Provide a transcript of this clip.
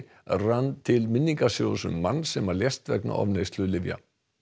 rann til minningarsjóðs um mann sem lést vegna ofneyslu lyfja